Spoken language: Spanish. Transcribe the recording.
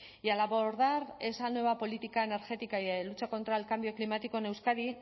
y al abordar esa nueva política energética y de lucha contra el cambio climático en euskadi